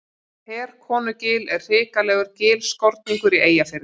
Herkonugil er hrikalegur gilskorningur í Eyjafirði.